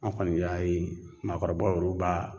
An' kɔni bɛ a ye maakɔrɔba yɛruw b'a